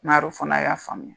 fana y'a faamuya